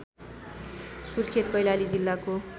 सुर्खेत कैलाली जिल्लाको